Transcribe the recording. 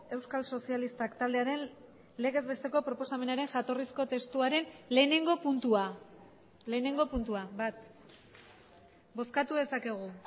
euskal sozialistak taldearen legez besteko proposamenaren jatorrizko testuaren lehenengo puntua lehenengo puntua bat bozkatu dezakegu